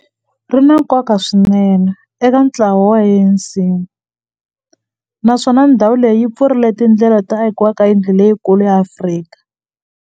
Ri na nkoka swinene eka ntlawa wa ANC, naswona ndhawu leyi yi pfulrile tindlela to akiwa ka yindlu leyikulu ya Afrika.